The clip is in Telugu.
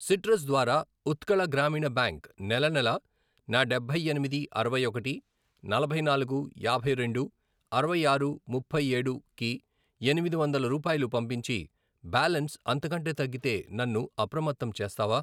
సిట్రస్ ద్వారా ఉత్కళ గ్రామీణ బ్యాంక్ నెలనెలా నా డబ్బై ఎనిమిది, అరవై ఒకటి, నలభై నాలుగు, యాభై రెండు, ఇరవై ఆరు, ముప్పై ఏడు, కి ఎనిమిది వందల రూపాయలు పంపించి, బ్యాలన్స్ అంతకంటే తగ్గితే నన్ను అప్రమత్తం చేస్తావా?